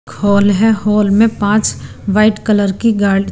hall है hall में पांच वाइट कलर की गाड़ी--